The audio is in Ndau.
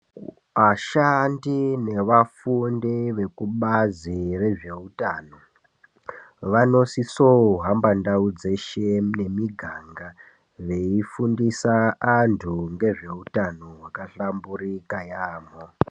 Vashandi nevafundi vekubazi rezveutano vanosiso kuhamba ndau dzeshe nemiganga, veifundisa andhu ngezveutano hwaka hlamburika yaambo.